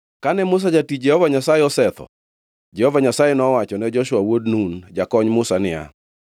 Kane Musa jatich Jehova Nyasaye osetho, Jehova Nyasaye nowachone Joshua wuod Nun, jakony Musa niya,